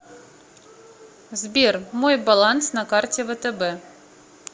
сбер мой баланс на карте втб